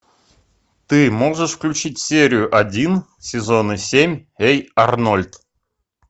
ты можешь включить серию один сезона семь эй арнольд